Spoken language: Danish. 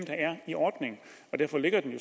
i ordningen derfor ligger det